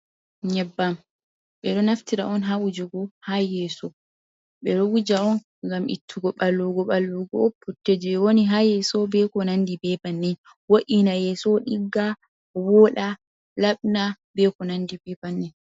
Nyebbam ɓe ɗo naftira on, haa wujugo haa yeeso, ɓe ɗo wuja on ngam ittugo ɓalwugo ɓalwugo, putte jey woni haa yeeso ,be ko nanndi be banni, wo’ina yeeso, ɗigga, wooɗa, laaɓna, be ko nandi be banni.